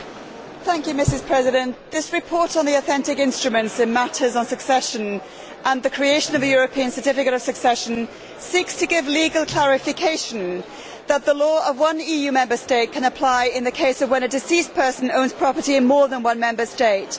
Madam President, this report on the authentic instruments in matters of succession and the creation of a European Certificate of Succession seeks to give legal clarification that the law of one EU Member State can apply in the case of when a deceased person owns property in more than one Member State.